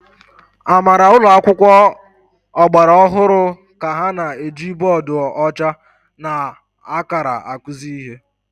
Amara ụlọ akwụkwọ ọgbara ọhụrụ ka ha na-eji bọọdụ ọcha na akara akụzi ihe.